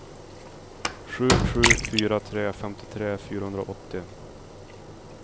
sju sju fyra tre femtiotre fyrahundraåttio